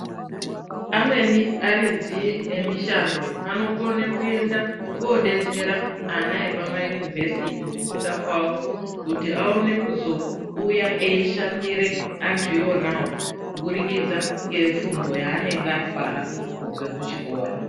Amweni aridzi emishindo anokone kuenda ko detsera ana epama yunivhesiti kufunda kwawo kuti aone kuzouya eyishandire antu wona wawo kubudikidza ne fundo yaanenge atwara kubva ku chikora.